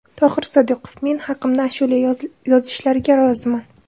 Tohir Sodiqov: Men haqimda ashula yozishlariga roziman.